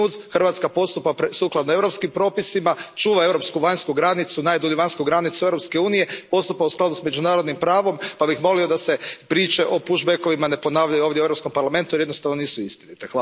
Hrvatska postupa sukladno europskim propisima, čuva europsku vanjsku granicu, najdulju vanjsku granicu Europske unije, postupa u skladu s međunarodnim pravom pa bih molio da se priče o pushbackovima ne ponavljaju ovdje u Europskom parlamentu jer jednostavno nisu istinite.